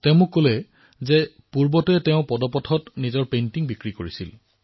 তেওঁ মোক কলে যে কিদৰে তেওঁ পদপথত নিজৰ চিত্ৰ বিক্ৰী কৰিছিল